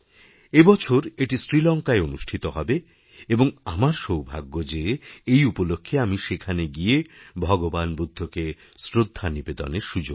এবছর এটি শ্রীলঙ্কায় অনুষ্ঠিত হবে এবং আমারসৌভাগ্য যে এই উপলক্ষ্যে আমি সেখানে গিয়ে ভগবান বুদ্ধকে শ্রদ্ধা নিবেদনের সুযোগপাব